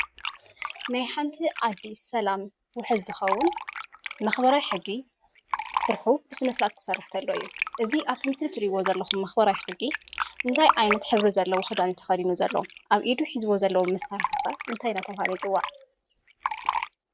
ናይ ሓንቲ ዓዲ ሰላም ውሑስ ዝኸውን መክበራይ ሕጊ ስርሑ ብስነ ስርዓት ክሰርሕ ከሎ እዩ፡፡ እዚ አብቲ ምስሊ እትሪእይዎ ዘለኩም መክበራይ ሕጊ እንታይ ዓይነት ሕብሪ ዘለዎ ክዳን እዩ ተከዲኑ ዘሎ? አብ ኢዱ ሒዝዎ ዘሎ መሳርሒ ኸ እንታይ እናተብሃለ ይፅዋዕ?